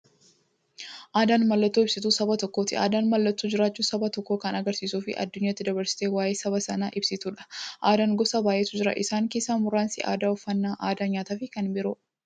Aadaan mallattoo ibsituu saba tokkooti. Aadaan mallattoo jiraachuu saba tokkoo kan agarsiistufi addunyyaatti dabarsitee waa'ee saba sanaa ibsituudha. Aadaan gosa baay'eetu jira. Isaan keessaa muraasni aadaa, uffannaa aadaa nyaataafi kan biroo.